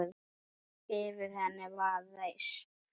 Yfir henni var reisn.